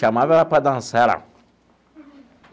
Chamava ela para dançar lá.